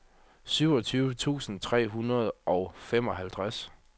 syvogtyve tusind tre hundrede og femoghalvtreds